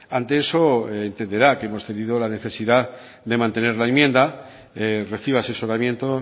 ante eso entenderá que hemos tenido la necesidad de mantener la enmienda reciba asesoramiento